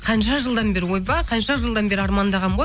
қанша жылдан бері ойбай қанша жылдан бері армандағанмын ғой